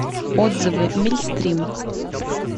отзывы мильстрим